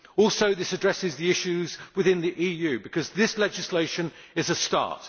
This also addresses the issues within the EU because this legislation is a start.